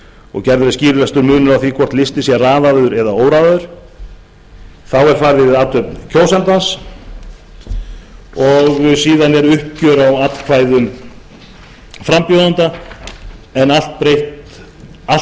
og gerður er skilvirkur munur á því hvort listinn sé raðaður eða óraðaður þá er farið yfir athöfn kjósandans og síðan er uppgjör á atkvæðum frambjóðenda en allt